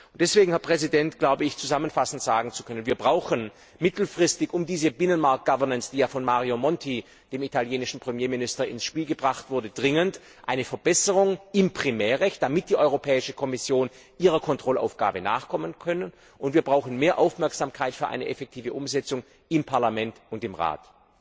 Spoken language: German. Deswegen, glaube ich zusammenfassend sagen zu können Wir brauchen mittelfristig, um diese Binnenmarktgovernance, die ja von Mario Monti, dem italienischen Premierminister, ins Spiel gebracht wurde, durchzusetzen, dringend eine Verbesserung im Primärrecht, damit die Europäische Kommission ihren Kontrollaufgaben nachkommen kann, und wir brauchen mehr Aufmerksamkeit für eine effektive Umsetzung im Parlament und im Rat.